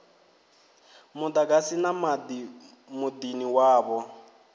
muḓagasi na maḓi muḓini wavho